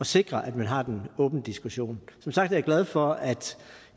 sikre at vi har den åbne diskussion som sagt er jeg glad for at